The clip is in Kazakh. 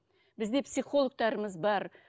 бізде психологтарымыз бар